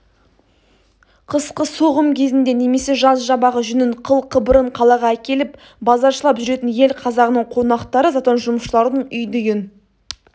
қысқы соғым кезінде немесе жаз жабағы жүнін қыл-қыбырын қалаға әкеліп базаршылап жүретін ел қазағының қонақтары затон жұмысшыларының үйді-үйін